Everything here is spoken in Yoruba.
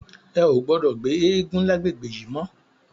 È ó gbòdò gbé égùn làgbégbé yi mò